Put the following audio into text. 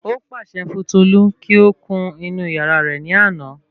Ó pààsẹ fún Tolu kí ó kun inú yàrá rẹ̀ ní àná